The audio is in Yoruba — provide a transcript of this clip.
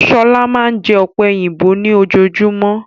Shola máa n jẹ ọ̀pẹ̀yìnbo ni ojojúmọ́.